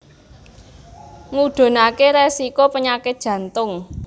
Ngudhunake resiko penyakit jantung